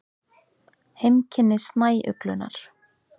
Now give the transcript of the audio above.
Heimkynni snæuglunnar.